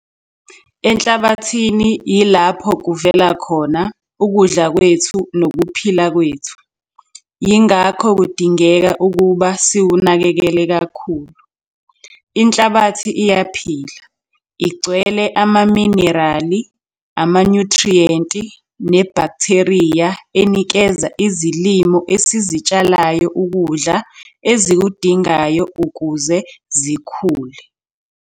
Enhlabathini yilapho kuvela khona ukudla kwethu nokuphila kwethu, yingakho kudingeka ukuba siwunakekele kakhulu. Inhlabathi iyaphila, igcwele amaminerali, amanyuthriyenti nebhaktheriya enikeza izilimo esizitshalayo ukudla ezikudingayo ukuze zikhule.